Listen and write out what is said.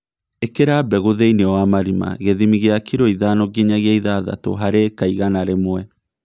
Īkĩra mbegũ thĩinĩ wa marima gĩthimi kĩa kiro ithano nginyagia ithathatũ harĩ ĩka igana rĩmwe